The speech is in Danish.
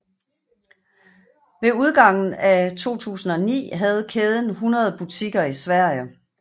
Ved udgangen af 2009 havde kæden 100 butikker i Sverige